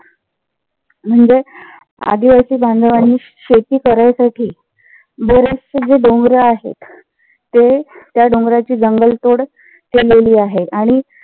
म्हणजेच आदिवासी बांधवांनी शेती करायसाठी बरेचशे जे डोंगर आहेत. ते त्या डोंगराची जंगल तोड केलेली आहे. आणि